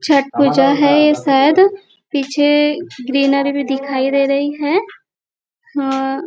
छट पूजा है यह शायद पीछे ग्रीनरी भी दिखाई दे रही है अह --